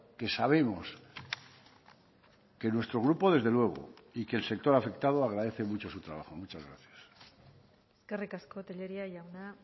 que sabemos que nuestro grupo desde luego y que el sector afectado agradece mucho su trabajo muchas gracias eskerrik asko tellería jauna